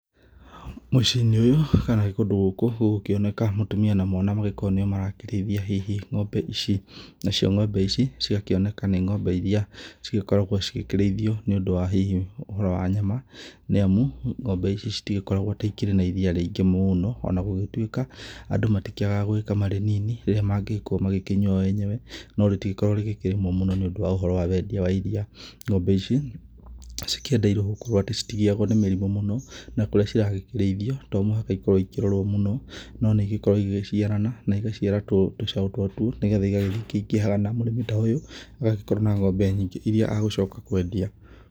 Mũciĩ-inĩ ũyũ kana kũndũ gũkũ gũgũkĩoneka mũtumia na mwana magĩkorwo nĩo marakĩrĩiithia hihi ng'ombe ici. Nacio ng'ombe ici cigakĩoneka nĩcio ng'ombe iria cigĩkoragwo cigĩkĩrĩithio nĩ ũndũ wa hihi ũhoro wa nyama. Nĩ amu ng'ombe ici ciitigĩkoragwo atĩ ikĩrĩ na iria rĩngĩ mũno, ona gũgĩtuĩka andũ matikĩagaga gũkama rĩnini rĩrĩa mangĩgĩkorwo magĩkĩnyua o enyewe. No rĩtikoragwo rĩkĩrĩmwo mũno nĩ ũndũ wa wendia wa iria. Ng'ombe ici cikĩendeirwo gũkorwo atĩ citigĩyagwo nĩ mĩrimũ mũno na kũrĩa ciragĩkĩrĩithio to mũhaka ikorwo ikĩrorwo mũno. No nĩ igĩkoragwo igĩgĩciarana na igaciara tũcaũ twatuo nĩ getha igagĩthiĩ ikĩingĩhaga na mũrĩmi ta ũyũ agagĩkorwo na ng'ombe nyingĩ iria agũgĩcoka kwendia.